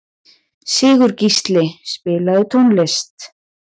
Sigurgísli, spilaðu tónlist.